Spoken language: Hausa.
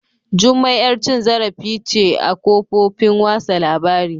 Jummai yar cin zarifi ce a kofofin wasa labari